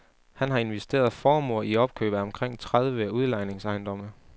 Han har investeret formuer i opkøb af omkring tredive udlejningsejendomme.